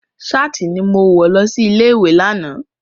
Ṣáàtì ni mo wọ lọ sí ilé ìwé lánàá.